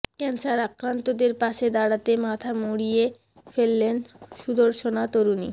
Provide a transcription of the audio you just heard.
cancer আক্রান্তদের পাশে দাঁড়াতে মাথা মুড়িয়ে ফেললেন সুদর্শনা তরুণী